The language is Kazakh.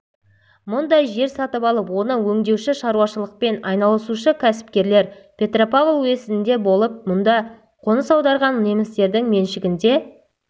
мұндай жер сатып алып оны өңдеуші шаруашылықпен айналысушы кәсіпкерлер петропавл уезінде де болып мұнда қоныс аударған немістердің меншігінде